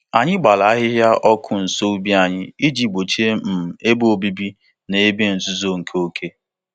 Anyị gbara ahịhịa ọkụ nso ubi anyị iji gbochie um ebe obibi na ebe nzuzo nke oke.